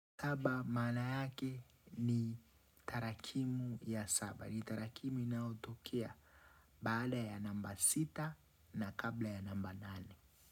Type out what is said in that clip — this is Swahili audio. Kaba mana yake ni tarakimu ya saba. Ni tarakimu inayotokea baada ya namba sita na kabla ya namba nane.